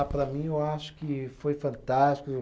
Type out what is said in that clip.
Ah, para mim, eu acho que foi fantástico.